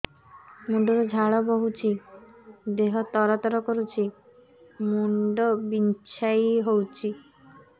ମୁଣ୍ଡ ରୁ ଝାଳ ବହୁଛି ଦେହ ତର ତର କରୁଛି ମୁଣ୍ଡ ବିଞ୍ଛାଇ ହଉଛି